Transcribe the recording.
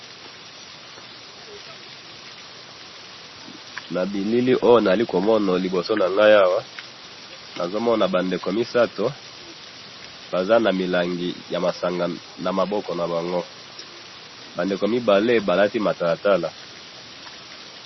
na bilili oyo nazali komona liboso na ngai awa, nazo mona ba ndeko misato, baza na milangi ya masanga na maboko na bango, ba ndeko mibale balati matalatala